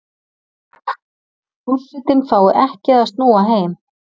Forsetinn fái ekki að snúa heim